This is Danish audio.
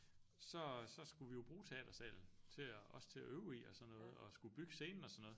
Så så skulle vi jo bruge teatersalen til og også til og øve i og sådan noget og skulle bygge scenen og sådan noget